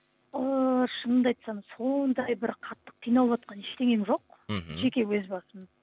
ыыы шынымды айтсам сондай бір қатты қиыналватқан ештеңем жоқ мхм жеке өз басым